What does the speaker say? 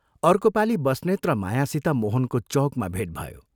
अर्को पाली बस्नेत र मायासित मोहनको चौकमा भेट भयो।